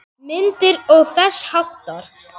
Myndir og þess háttar.